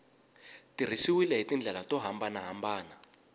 tirhisiwile hi tindlela to hambanahambana